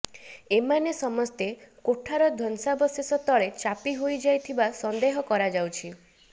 ଏମାନେ ସମସ୍ତେ କୋଠାର ଧ୍ୱଂସାବଶେଷ ତଳେ ଚାପି ହୋଇଯାଇଥିବା ସନ୍ଦେହ କରାଯାଉଛି